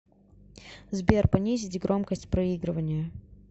сбер понизить громкость проигрывания